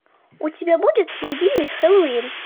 у тебя будет могильный хэллоуин